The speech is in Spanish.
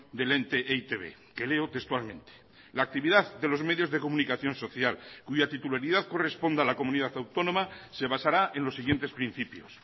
del ente e i te be que leo textualmente la actividad de los medios de comunicación social cuya titularidad corresponda a la comunidad autónoma se basará en los siguientes principios